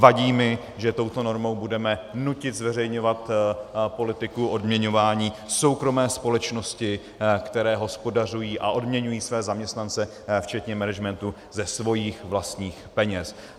Vadí mi, že touto normou budeme nutit zveřejňovat politiku odměňování soukromé společnosti, které hospodařují a odměňují své zaměstnance včetně managementu ze svých vlastních peněz.